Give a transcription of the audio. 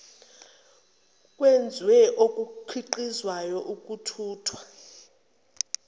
kwezwe okukhiqizwayo ukuthuthwa